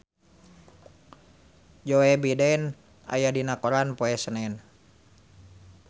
Joe Biden aya dina koran poe Senen